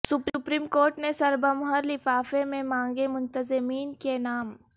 supreme court نے سربمہر لفافے میں مانگے منتظمین کے نام